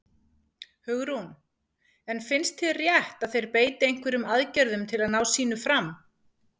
Hugrún: En finnst þér rétt að þeir beiti einhverjum aðgerðum til að ná sínu fram?